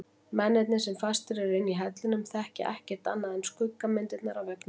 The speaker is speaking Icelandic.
Mennirnir sem fastir eru inni í hellinum þekkja ekkert annað en skuggamyndirnar á veggnum.